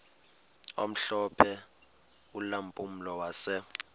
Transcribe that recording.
omhlophe ulampulo wase